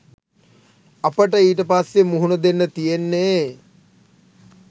අපට ඊට පස්සේ මුහුණ දෙන්න තියෙන්නේ